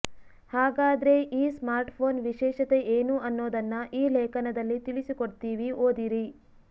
ಹಾಗಾದ್ರೆ ಈ ಸ್ಮಾರ್ಟ್ಫೋನ್ ವಿಶೇಷತೆ ಏನು ಅನ್ನೊದನ್ನ ಈ ಲೇಖನದಲ್ಲಿ ತಿಳಿಸಿಕೊಡ್ತೀವಿ ಓದಿರಿ